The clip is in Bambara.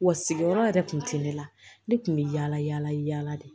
Wa sigiyɔrɔ yɛrɛ kun tɛ ne la ne tun bɛ yala yala yaala de